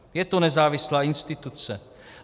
Je to nezávislá instituce.